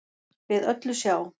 við öllu sjá